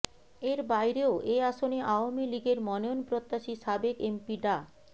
এর বাইরেও এ আসনে আওয়ামী লীগের মনোনয়নপ্রত্যাশী সাবেক এমপি ডা